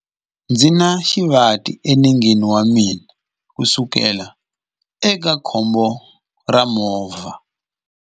Ndzi na xivati enengeni wa mina kusukela eka khombo ra movha.